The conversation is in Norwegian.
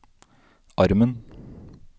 armen